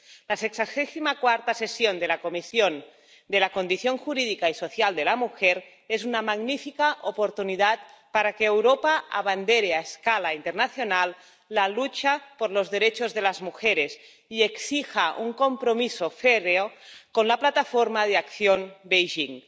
El sexagésimo cuarto período de sesiones de la Comisión de la Condición Jurídica y Social de la Mujer de las Naciones Unidas es una magnífica oportunidad para que Europa abandere a escala internacional la lucha por los derechos de las mujeres y exija un compromiso férreo con la Plataforma de Acción de Beijing.